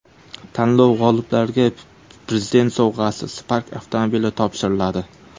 Tanlov g‘oliblariga Prezident sovg‘asi Spark avtomobili topshiriladi.